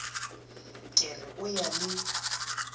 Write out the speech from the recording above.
ke re o ya le